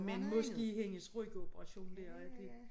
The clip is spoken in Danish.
Men måske hendes rygoperation dér at det